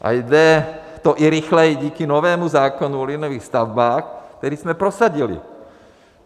A jde to i rychleji díky novému zákonu o liniových stavbách, který jsme prosadili!